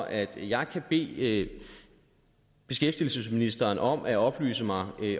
at jeg kan bede beskæftigelsesministeren om at oplyse mig